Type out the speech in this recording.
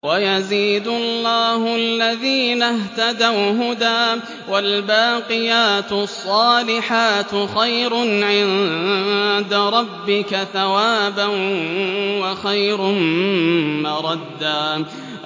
وَيَزِيدُ اللَّهُ الَّذِينَ اهْتَدَوْا هُدًى ۗ وَالْبَاقِيَاتُ الصَّالِحَاتُ خَيْرٌ عِندَ رَبِّكَ ثَوَابًا وَخَيْرٌ مَّرَدًّا